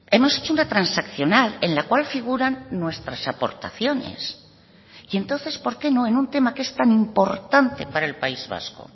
hemos hecho una transaccional en la cual figuran nuestras aportaciones y entonces por qué no en un tema que es tan importante para el país vasco